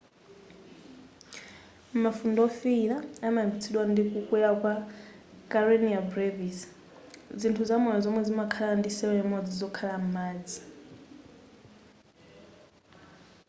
mafunde wofiyira amayambitsidwa ndi kukwera kwa karenia brevis zinthu zamoyo zomwe zimakhala ndi cell imodzi zokhala m'madzi